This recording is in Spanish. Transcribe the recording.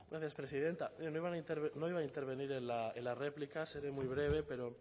gracias presidenta no iba a intervenir en la réplica seré muy breve pero